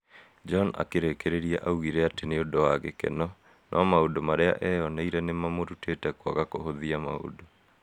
John akĩrĩkĩrĩria augire atĩ nĩ ũndũ wa gĩkeno, no maũndũ marĩa eyoneire nĩ mamũrutĩte kwaga kũhũthia maũndũ.